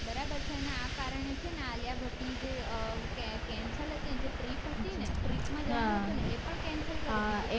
બરાબર છે અને આ કારણે છે છે ને આલિયા ભટ્ટ ની જે અ cancel હતી ને જે trip હતી ને trip માં જવાનું હતું ને એ પણ cancel કરી દીધું